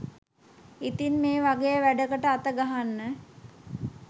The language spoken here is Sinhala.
ඉතින් මේ වගේ වැඩකට අතගහන්න